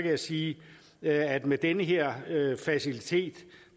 jeg sige at med den her facilitet